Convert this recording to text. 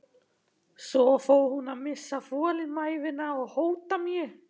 Svo fór hún að missa þolinmæðina og hóta mér.